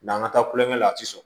N'an ka taa kulonkɛ la a ti sɔn